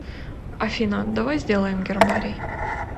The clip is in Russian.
афина давай сделаем гербарий